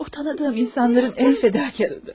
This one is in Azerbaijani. O tanıdığım insanların ən fədakarıdır.